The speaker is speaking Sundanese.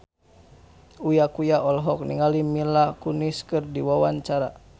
Uya Kuya olohok ningali Mila Kunis keur diwawancara